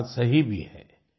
यह बात सही भी है